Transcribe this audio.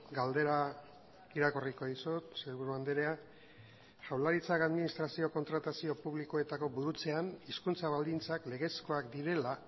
galdera irakurriko dizut sailburu andrea jaurlaritzak administrazio kontratazio publikoetako burutzean hizkuntza baldintzak legezkoak direla